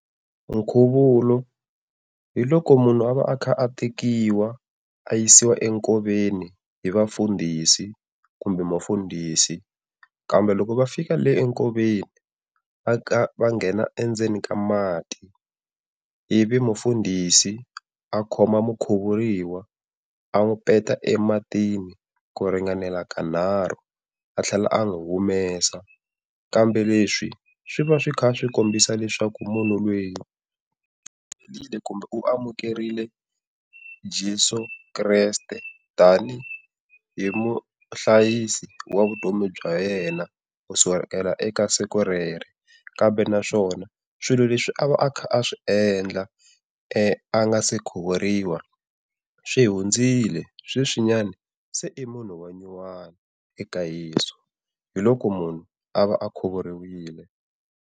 Nkhuvulo hi loko munhu a va a kha a tekiwa a yisiwa enkoveni hi vafundhisi kumbe mufundhisi, kambe loko va fika le enkoveni va va nghena endzeni ka mati ivi mufundhisi a khoma mukhuvuriwa a n'wi peta ematini ku ringanela ka nharhu, a tlhela a n'wi humesa. Kambe leswi swi va swi kha swi kombisa leswaku munhu loyi u amukerile Jeso Kreste tani hi muhlayisi wa vutomi bya yena, kusukela eka siku rero. Kambe naswona swilo leswi a va a kha a swi endla a nga se khuvuriwa swi hundzile sweswinyan se i munhu wa nyuwani eka Yeso, hi loko munhu a va a khuvuriwile.